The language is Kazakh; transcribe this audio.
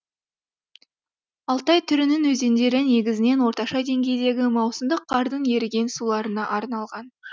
алтай түрінің өзендері негізінен орташа деңгейдегі маусымдық қардың еріген суларына арналған